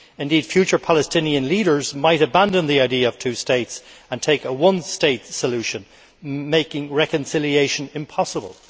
Indeed future Palestinian leaders might abandon the idea of two states and take a one state solution, making reconciliation impossible.